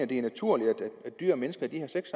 det er naturligt at dyr og mennesker har sex